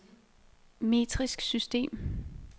metrisk system